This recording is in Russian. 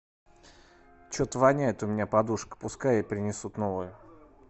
что то воняет у меня подушка пускай принесут новую